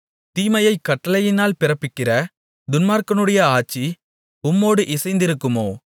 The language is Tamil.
தீமையைக் கட்டளையினால் பிறப்பிக்கிற துன்மார்க்கனுடைய ஆட்சி உம்மோடு இசைந்திருக்குமோ